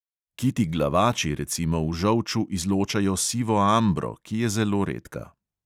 Kiti glavači recimo v žolču izločajo sivo ambro, ki je zelo redka.